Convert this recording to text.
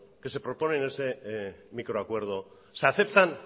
que se proponen en ese microacuerdo